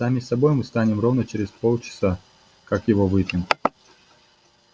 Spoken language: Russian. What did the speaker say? сами собой мы станем ровно через полчаса как его выпьем